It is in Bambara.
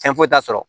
Fɛn foyi t'a sɔrɔ